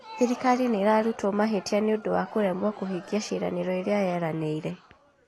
Thirikari nĩ irarutwo mahĩtia nĩũndũ wa kũremwo kũhingia ciĩranero iria yeranĩire